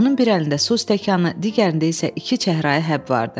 Onun bir əlində su stəkanı, digərində isə iki çəhrayı həb vardı.